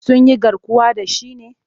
Sun yi garkuwa da shi ne?